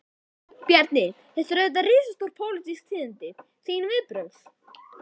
Bjarni, þetta eru auðvitað risastór, pólitísk tíðindi, þín viðbrögð?